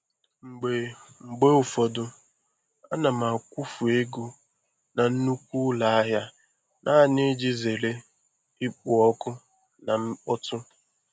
Mgbe Mgbe ụfọdụ ana m akwụfe ego na nnukwu ụlọ ahịa naanị iji zere ikpo ọkụ na mkpọtụ.